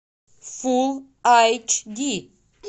фул айч ди